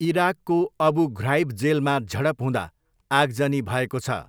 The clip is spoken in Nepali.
इराकको अबु घ्राइब जेलमा झडप हुँदा आगजनी भएको छ।